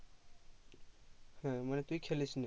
ও মানে তুই খেলিস নি